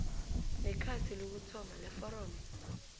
nekhasi lokuthoma leforomo